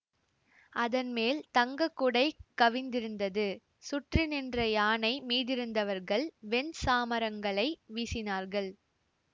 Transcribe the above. அதன் மேல் தங்கக்குடை கவிந்திருந்தது சுற்றி நின்ற யானை மீதிருந்தவர்கள் வெண் சாமரங்களை வீசினார்கள்